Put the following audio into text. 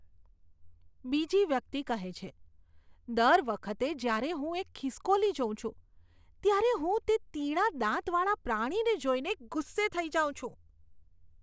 બીજી વ્યક્તિ કહે છે, દર વખતે જ્યારે હું એક ખિસકોલી જોઉં છું, ત્યારે હું તે તીણા દાંતવાળા પ્રાણીને જોઈને ગુસ્સે થઈ જાઉં છું.